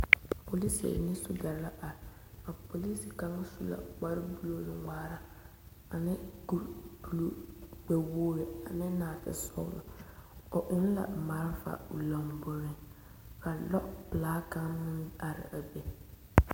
Polisiri ne sogyɛre la are, a polisi kaŋa su la kpare buluu nu-ŋmaara ane kuri buluu gbɛ-wogiri ane naate sɔgelɔ o eŋ la malfa o lomboriŋ ka lɔpelaa kaŋ meŋ are a be.